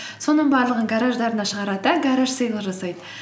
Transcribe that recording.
соның барлығын гараждарына шығарады да гараж сэйл жасайды